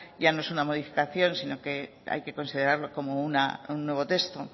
ya no es una modificación sino que hay que considerarlo como un nuevo texto